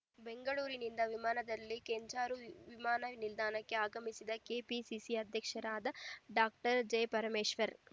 ಬೆಂಗಳೂರಿನಿಂದ ವಿಮಾನದಲ್ಲಿ ಕೆಂಜಾರು ವಿಮಾನನಿಲ್ದಾಣಕ್ಕೆ ಆಗಮಿಸಿದ ಕೆಪಿಸಿಸಿ ಅಧ್ಯಕ್ಷರೂ ಆದ ಡಾಕ್ಟರ್ ಜಿಪರಮೇಶ್ವರ್‌